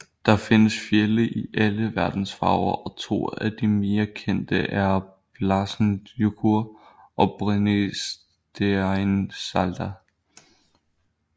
Der findes fjelde i alle verdens farver og to af de mere kendte er Bláhnjúkur og Brennisteinsalda